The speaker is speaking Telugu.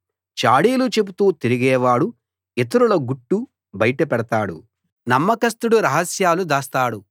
చాడీలు చెబుతూ తిరిగేవాడు ఇతరుల గుట్టు బయటపెడతాడు నమ్మకస్థుడు రహస్యాలు దాస్తాడు